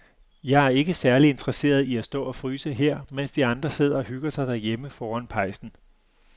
Jeg er ikke særlig interesseret i at stå og fryse her, mens de andre sidder og hygger sig derhjemme foran pejsen.